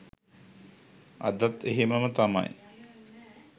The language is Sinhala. අදත් එහෙමම තමයි.